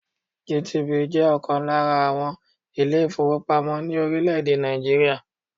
GTB jẹ́ ọ̀kan lára àwọn ilé-ìfowópamọ́ ní orílẹ̀-èdè Nàìjíríà.